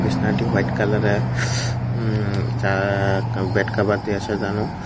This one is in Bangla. হোয়াইট কালারে উম চা বেড কভার দিয়েছে সাজানো।